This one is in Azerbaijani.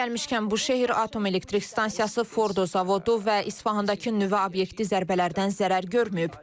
Yeri gəlmişkən, Buşehr Atom Elektrik Stansiyası, Fordo Zavodu və İsfahandakı nüvə obyekti zərbələrdən zərər görməyib.